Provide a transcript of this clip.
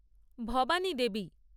Bhabani Devi